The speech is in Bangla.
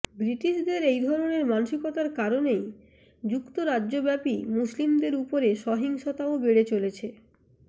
ব্রিটিশদের এই ধরনের মানসিকতার কারণেই যুক্তরাজ্যব্যাপী মুসলিমদের ওপর সহিংসতাও বেড়ে চলেছে